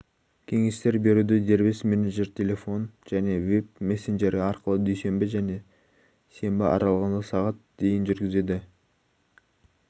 кеңестер беруді дербес менеджер телефон және вэб-мессенджері арқылы дүйсенбі мен сенбі аралығында сағат дейін жүргізеді ал